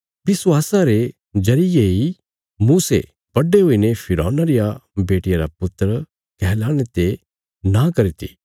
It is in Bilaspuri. विश्वासा रे जरिये इ मूसे बड्डे हुईने फिरौना रिया बेटिया रा पुत्र कहलाणे ते नां करी ती